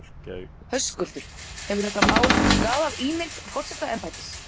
Höskuldur: Hefur þetta mál skaðað ímynd forsetaembættis?